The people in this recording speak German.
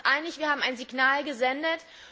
Wir waren uns einig, wir haben ein Signal gesendet.